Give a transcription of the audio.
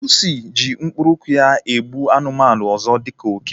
Pusi ji mkpụrụ ụkwụ ya egbu anụmanụ ọzọ dịka oke